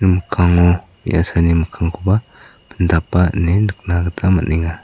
mikkango me·asani mikkangkoba pindapa ine nikna gita man·enga.